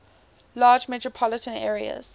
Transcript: largest metropolitan areas